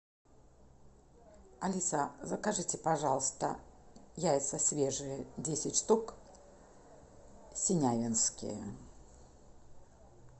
алиса закажите пожалуйста яйца свежие десять штук синявинские